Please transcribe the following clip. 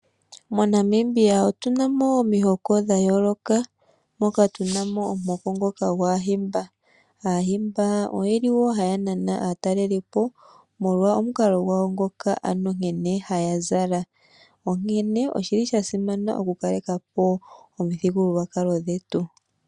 MoNamibia otuna mo omihoko dhayooloka mono tuna mo omuhoko ngoka gwaahimba. Aahimba ohaya nana aatalelelipo molwa omukalo gwawo nkene haya zala. Oshasimana okukaleka po omithigululwakalo dhetu.